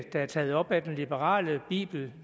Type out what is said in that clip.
der er taget op af den liberale bibel